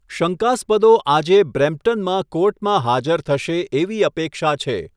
શંકાસ્પદો આજે બ્રેમ્પટનમાં કોર્ટમાં હાજર થશે એવી અપેક્ષા છે.